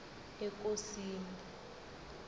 ekosini